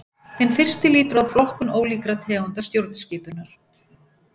Hinn fyrsti lýtur að flokkun ólíkra tegunda stjórnskipunar.